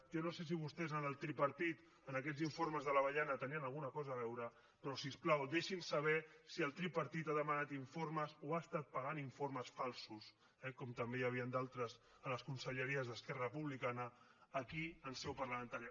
jo no sé si vostès en el tripartit en aquests informes de l’avellana tenien alguna cosa a veure però si us plau deixin saber si el tripartit ha demanat informes o ha estat pagant informes falsos com també n’hi havia d’altres en les conselleries d’esquerra republicana aquí en seu parlamentària